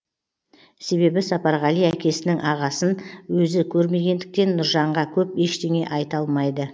себебі сапарғали әкесінің ағасын өзі көрмегендіктен нұржанға көп ештене айта алмайды